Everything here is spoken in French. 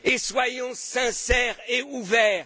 fini. Soyons sincères et ouverts.